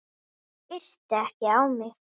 Hann yrti ekki á mig.